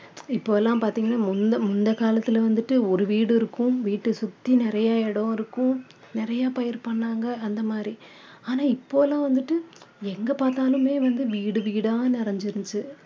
இப்போ எல்லாம் பார்த்தீங்கன்னா முந்த~ முந்தைய காலத்துல வந்துட்டு ஒரு வீடு இருக்கும் வீட்ட சுத்தி நிறைய இடம் இருக்கும் நிறைய பயிர் பண்ணாங்க அந்த மாதிரி ஆனா இப்போ எல்லாம் வந்துட்டு எங்க பார்த்தாலுமே வந்து வீடு வீடா நிறைஞ்சுருச்சு